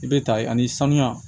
I bɛ ta ye ani sanuya